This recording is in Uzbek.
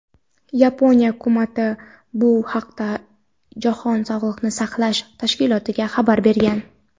Yaponiya Hukumati bu haqda Jahon sog‘liqni saqlash tashkilotiga xabar bergan.